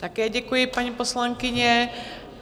Také děkuji, paní poslankyně.